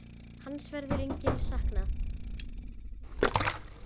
Hans verður lengi saknað.